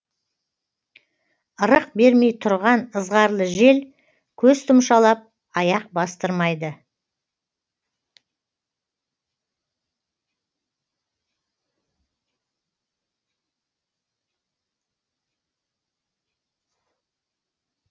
ырық бермей тұрған ызғарлы жел көз тұмшалап аяқ бастырмайды